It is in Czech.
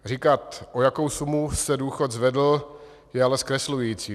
Říkat, o jakou sumu se důchod zvedl, je ale zkreslující.